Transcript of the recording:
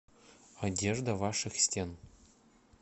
одежда ваших стен